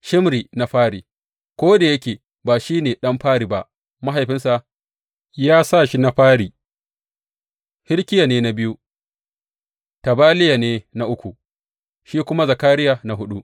Shimri na fari ko da yake ba shi ne ɗan fari ba, mahaifinsa ya sa shi na fari, Hilkiya ne na biyu, Tabaliya ne na uku sai kuma Zakariya na huɗu.